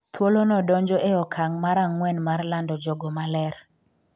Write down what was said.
thuolo no donjo e okang' mar ang'wen mar lando jogo ma ler